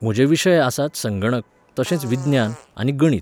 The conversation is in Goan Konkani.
म्हजे विशय आसात संगणक, तशेंच विज्ञान, आनी गणीत